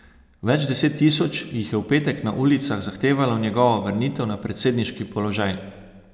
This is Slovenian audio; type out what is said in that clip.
Več deset tisoč jih je v petek na ulicah zahtevalo njegovo vrnitev na predsedniški položaj.